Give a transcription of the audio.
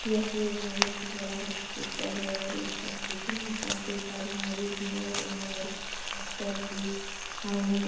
यह एक बहुत ही बड़ा हॉस्पिटल है और इस हॉस्पिटल में काफी सारे मरीज है और यहाँ बड़े-बड़े डॉक्टर भी आए हैं।